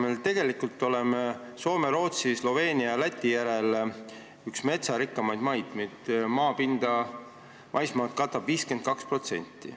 Me oleme tegelikult Soome, Rootsi, Sloveenia ja Läti järel üks metsarikkamaid maid: meie maismaast katab mets 52%.